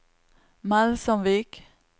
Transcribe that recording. Melsomvik